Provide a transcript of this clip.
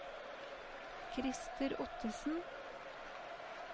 Christer Ottesen